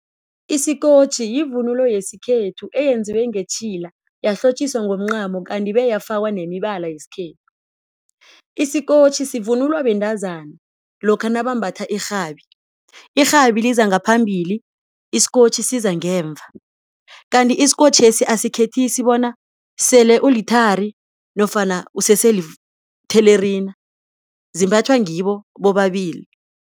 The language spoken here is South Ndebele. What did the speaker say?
Isikotjhi yivunulo yesikhethu eyenziwe ngetjhila yahlotjiswa ngomncamo kanti beyafakwa nemibala yesikhethu. Isikotjhi sivunulwa bentazana lokha nabambatha irhabi, irhabi liza ngaphambili isikotjhi siza ngemva kanti isikotjhesi asikhethisi bona sele uluthari nofana useselithelerina zimbathwa ngibo bobabili.